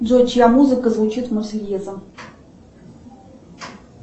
джой чья музыка звучит марсельеза